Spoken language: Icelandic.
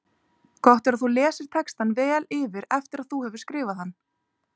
Gott er að þú lesir textann vel yfir eftir að þú hefur skrifað hann.